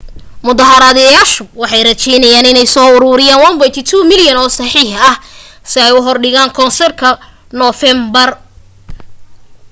mudaharaadayaashu waxay rejaynayaan inay soo uruuriyaan 1.2 malyan oo saxiix si ay u hor dhigaan koonagreeska noofeembar